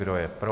Kdo je pro?